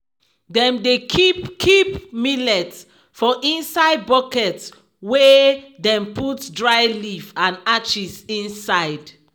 dem dey keep keep millet for inside basket wey dem put dry leaf and ashes inside.